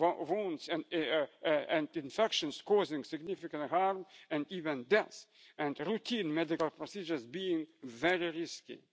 simple wounds and infections causing significant harm and even death, and routine medical procedures being very